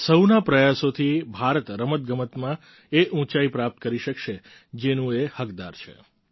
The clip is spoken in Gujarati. સહુના પ્રયાસોથી ભારત રમતગમતમાં એ ઉંચાઈ પ્રાપ્ત કરી શકશે જેનું એ હકદાર છે